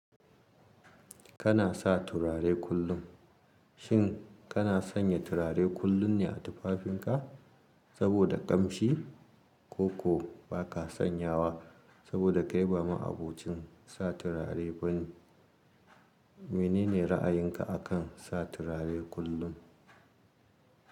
Kana sa turare kullum. Shin kana sanya turare kullum ne a tufafinka saboda ƙamshi, ko ba ka sanyawa saboda kai ba ma abokin sa turare bane? Menene ra'ayinka a kan sa turare kullum?